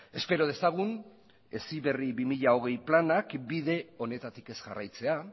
espero dezagun heziberri bi mila hogei planak bide honetatik ez jarraitzea